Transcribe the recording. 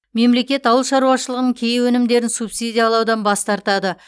мемлекет ауыл шаруашылығының кей өнімдерін субсидиялаудан бас тартады